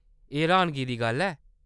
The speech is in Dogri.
एह्‌‌ र्‌हानगी दी गल्ल ऐ !